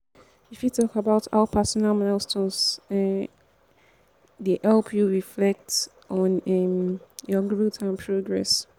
you fit talk about how personal milestones um dey help you reflect on um your growth and progress.